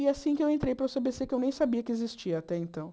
E é assim que eu entrei para o cê bê cê, que eu nem sabia que existia até então.